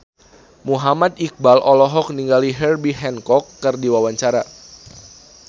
Muhammad Iqbal olohok ningali Herbie Hancock keur diwawancara